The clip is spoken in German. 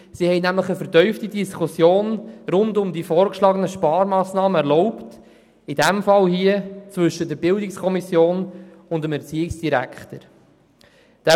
Sie haben eine vertiefte Diskussion rund um die vorgeschlagenen Sparmassnahmen erlaubt, die in diesem Fall zwischen der BiK und dem Erziehungsdirektor stattfand.